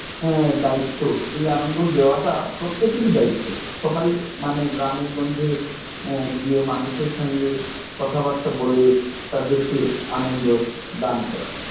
হ্যাঁ দায়িত্ব। এই আনন্দ দেওয়াটা প্রত্যেকেরই দায়িত্ব। সবাই মানে গ্রামে গঞ্জে এর গিয়ে মানুষের সঙ্গে কথা বার্তা বলে তাদেরকে আনন্দ দান করা।